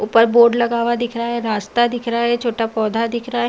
उपर बोर्ड लगा हुआ दिख रहा है। रास्ता दिख रहा है। छोटा पौधा दिख रहा है।